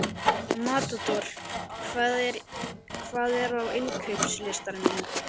Matador, hvað er á innkaupalistanum mínum?